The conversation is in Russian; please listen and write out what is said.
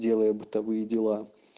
делая бытовые дела